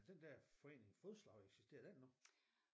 Den der forening fodslag eksisterer den endnu